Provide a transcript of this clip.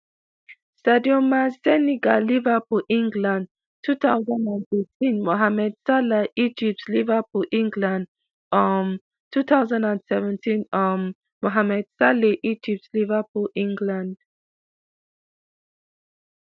sadio man senegal liverpool england two thousand and teen mohamed salah egypt liverpool england um two thousand and seventeen um mohamed saleh egypt liverpool england